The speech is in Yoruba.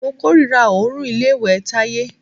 Mo kòrira òórùn ilé ìwẹ̀ Táyé.